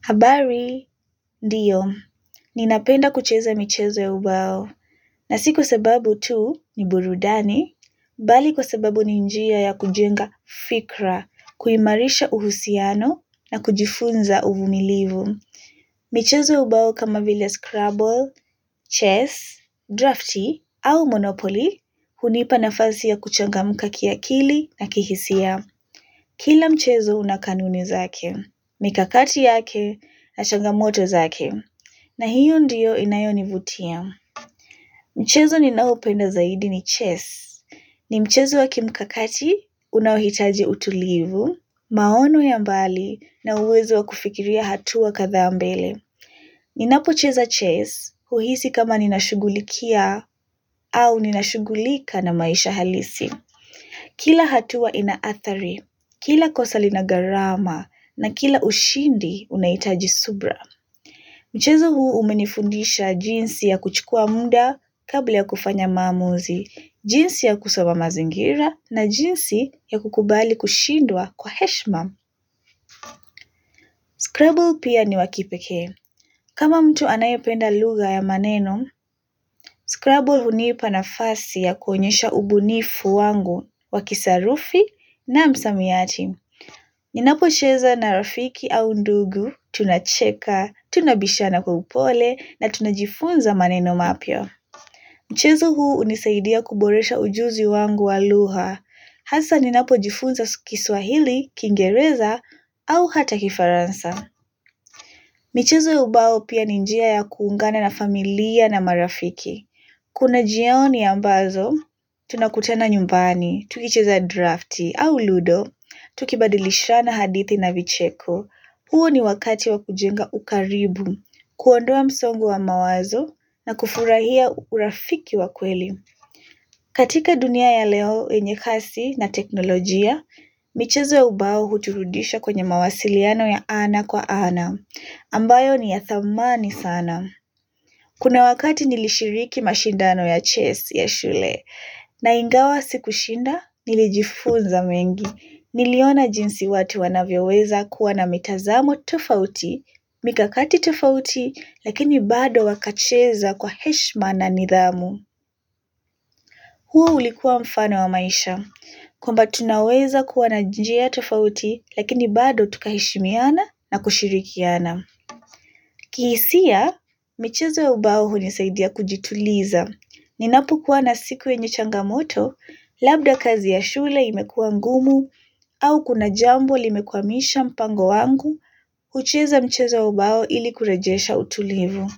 Habari, ndiyo. Ninapenda kucheza michezo ya ubao. Na si kwa sababu tu ni burudani, bali kwa sababu ni njia ya kujenga fikra, kuimarisha uhusiano na kujifunza uvumilivu. Michezo ya ubao kama vile scrabble, chess, drafti au monopoly hunipa nafasi ya kuchangamuka kiakili na kihisia. Kila mchezo una kanuni zake, mikakati yake na changamoto zake, na hiyo ndiyo inayo nivutia. Mchezo ninaopenda zaidi ni chess. Ni mchezo wa kimkakati unaohitaji utulivu, maono ya mbali na uwezo wa kufikiria hatua kadhaa mbele. Ninapo cheza chess, uhisi kama ninashugulikia au ninashugulika na maisha halisi. Kila hatuwa ina athari, kila kosa linagarama na kila ushindi unahitaji subra. Mchezo huu umenifundisha jinsi ya kuchukua muda kabla ya kufanya maamuzi, jinsi ya kusoma mazingira na jinsi ya kukubali kushindwa kwa heshma. Scrubble pia ni wa kipekee. Kama mtu anayopenda lugha ya maneno, Scrubble hunipa nafasi ya kuonyesha ubunifu wangu wa kisarufi na msamiyati. Ninapocheza na rafiki au ndugu, tunacheka, tunabishana kwa upole na tunajifunza maneno mapya. Mchezo huu unisaidia kuboresha ujuzi wangu wa lugha. Hasa ninapo jifunza kiswahili, kingereza au hata kifaransa. Mchezo ya ubao pia ni njia ya kuungana na familia na marafiki. Kuna jioni ambazo, tunakutana nyumbani, tukicheza drafti au ludo, tukibadilishana hadithi na vicheko, huo ni wakati wa kujenga ukaribu, kuondoa msongo wa mawazo na kufurahia urafiki wa kweli. Katika dunia ya leo yenye kasi na teknolojia, michezo ya ubao huturudisha kwenye mawasiliano ya ana kwa ana, ambayo ni ya thamani sana. Kuna wakati nilishiriki mashindano ya chess ya shule, na ingawa sikushinda nilijifunza mengi, niliona jinsi watu wanavyo weza kuwa na mitazamo tofauti, mikakati tofauti, lakini bado wakacheza kwa heshma na nidhamu. Huo ulikuwa mfano wa maisha. Kwamba tunaweza kuwa na njia ya tofauti, lakini bado tukaheshimiana na kushirikiana. Kihisia, michezo ya ubao hunisaidia kujituliza. Ninapu kuwa na siku yenye changamoto, labda kazi ya shule imekuwa ngumu, au kuna jambo limekwamisha mpango wangu, hucheza mchezo ya ubao ili kurajesha utulivu.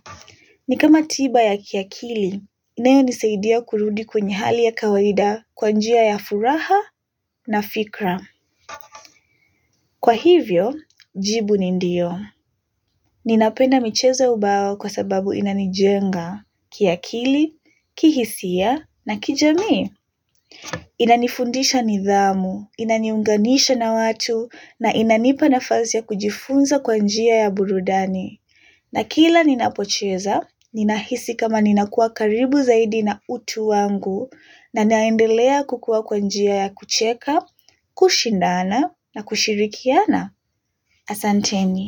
Ni kama tiba ya kiakili, inayo nisaidia kurudi kwenye hali ya kawaida kwa njia ya furaha na fikra. Kwa hivyo, jibu ni ndiyo. Ninapenda michezo ya ubao kwa sababu inanijenga, kiakili, kihisia na kijamii. Inanifundisha nidhamu, inaniunganisha na watu na inanipa nafasi ya kujifunza kwa njia ya burudani. Na kila ninapocheza, ninahisi kama ninakuwa karibu zaidi na utu wangu na naendelea kukuwa kwa njia ya kucheka, kushindana na kushirikiana. Asanteni.